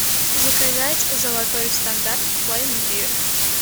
заказать золотой стандарт пломбир